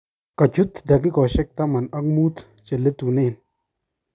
Kochut dakikoshek taman ak mut cheletunen.